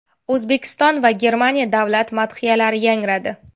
O‘zbekiston va Germaniya davlat madhiyalari yangradi.